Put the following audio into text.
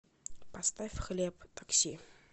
поставь хлеб такси